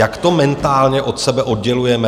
Jak to mentálně od sebe oddělujeme?